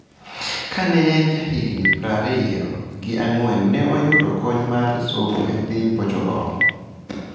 Kane en jahigni prariyo gi angwen ne oyudo kony mar somo e piny Portugal.